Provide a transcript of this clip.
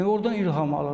Ordan ilham alırdım.